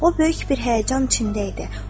O böyük bir həyəcan içində idi.